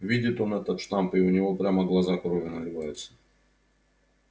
видит он этот штамп и у него прямо глаза кровью наливаются